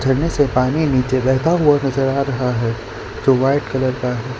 झरने से पानी नीचे बहता हुआ नजर आ रहा है जो वाइट कलर का है।